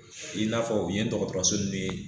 I n'a fɔ u ye dɔgɔtɔrɔso nin